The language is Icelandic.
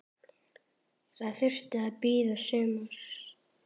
Það þurfti að bíða sumars.